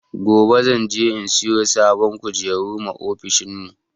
Gobe zan je in siyo sabon kujeru ma ofishin mu